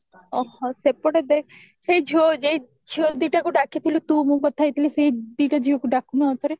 ଓହୋ ସେପଟେ ଦେଖ ସେଇ ଯୋ ଝିଅ ଦିଟାକୁ ଡ଼ାକିଥିଲୁ ତୁ ମୁଁ କଥା ହେଇଥିଲି ସେଇ ଦିଟା ଝିଅକୁ ଡାକୁନୁ ଆଉ ଠାରେ